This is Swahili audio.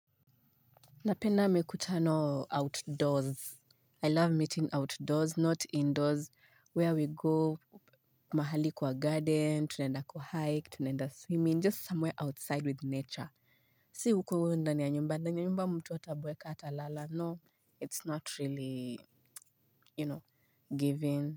Napenda mikutano outdoors. I love meeting outdoors, not indoors, where we go, mahali kwa garden, tunaenda kwa hike, tunaenda swimming, just somewhere outside with nature. Si huko hivo ndani ya nyumba, ndani ya nyumba mtu ataboeka hatalala. No, it's not really, you know, giving.